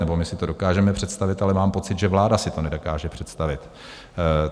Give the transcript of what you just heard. Nebo my si to dokážeme představit, ale mám pocit, že vláda si to nedokáže představit.